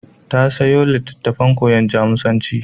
Ta sayo littafin koyon Jamusanci.